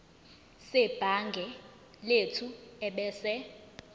sebhangi lethu ebese